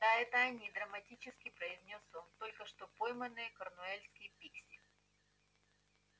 да это они драматически произнёс он только что пойманные корнуэльские пикси